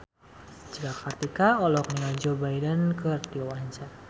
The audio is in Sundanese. Cika Kartika olohok ningali Joe Biden keur diwawancara